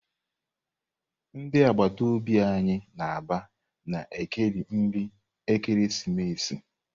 Ndị agbata obi anyị na Aba na-ekeri nri ekeresimesi.